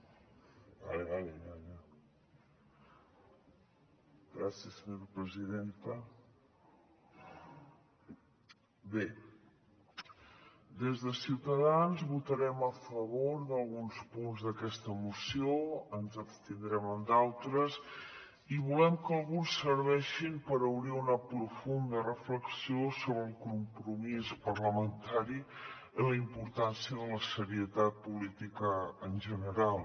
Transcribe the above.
bé des de ciutadans votarem a favor d’alguns punts d’aquesta moció ens abstindrem en d’altres i volem que alguns serveixin per obrir una profunda reflexió sobre el compromís parlamentari i la importància de la serietat política en general